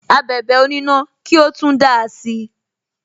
Abẹ̀bẹ̀ onina ki o tun dáa si